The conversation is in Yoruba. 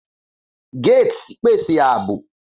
Gates pese aabo.